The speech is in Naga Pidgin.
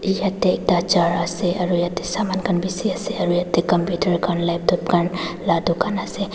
yetey ekta char ase aro yeta saman khan beshi ase aro yete computer khan laptop la dukan ase.